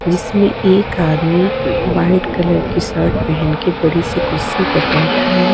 जिसमें एक आदमी व्हाइट कलर टी शर्ट पहन के बड़ी सी कुर्सी पर बैठा है।